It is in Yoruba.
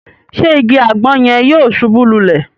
Ṣe ìgi agbon yẹn yóò ṣubu lulẹ?